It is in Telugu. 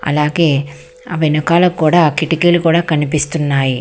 అలాగే వెనకాల కూడా కిటికీలు కూడా కనిపిస్తున్నాయి.